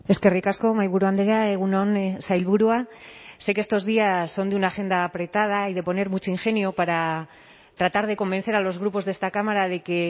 eskerrik asko mahaiburu andrea egun on sailburua sé que estos días son de una agenda apretada y de poner mucho ingenio para tratar de convencer a los grupos de esta cámara de que